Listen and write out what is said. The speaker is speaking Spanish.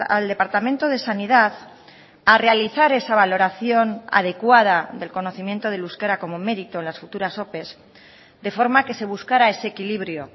al departamento de sanidad a realizar esa valoración adecuada del conocimiento del euskera como mérito en las futuras ope de forma que se buscara ese equilibrio